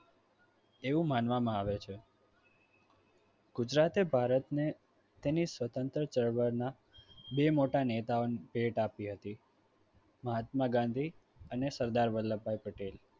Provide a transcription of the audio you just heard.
એવું માનવામાં આવે છે ગુજરાતે ભારતને તેને સ્વતંત્ર ચળવળના બે મોટા નેતાઓને ભેટ આપી હતી મહાત્મા ગાંધી અને સરદાર વલ્લભભાઈ પટેલ